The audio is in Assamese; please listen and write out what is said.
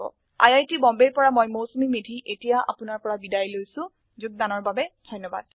আই আই টী বম্বে ৰ পৰা মই মৌচুমী মেধী এতিয়া আপুনাৰ পৰা বিদায় লৈছো যোগদানৰ বাবে ধন্যবাদ